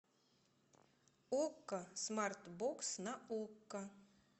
окко смарт бокс на окко